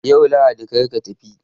Yau Lahadi kar ka tafi!